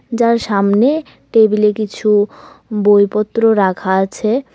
যার সামনে টেবিলে কিছু বইপত্র রাখা আছে।